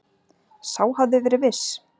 Sá hafði verið viss!